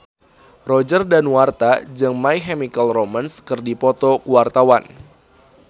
Roger Danuarta jeung My Chemical Romance keur dipoto ku wartawan